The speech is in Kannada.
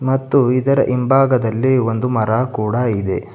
ಮತ್ತು ಇದರ ಹಿಂಭಾಗದಲ್ಲಿ ಒಂದು ಮರ ಕೂಡ ಇದೆ.